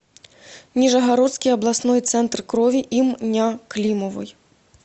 нижегородский областной центр крови им ня климовой